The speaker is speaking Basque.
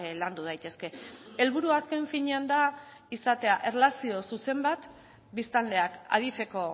landu daitezke helburua azken finean da izatea erlazio zuzen bat biztanleak adif eko